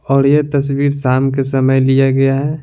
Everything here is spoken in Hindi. और यह तस्वीर शाम के समय लिया गया है।